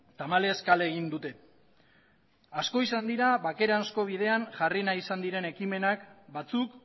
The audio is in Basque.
tamalez kale egin dute asko izan dira bakerako bidean jarri nahi izan diren ekimenak batzuk